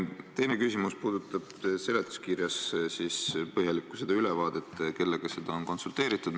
Minu teine küsimus puudutab seletuskirjas põhjalikult kirjas olevat ülevaadet, kellega on konsulteeritud.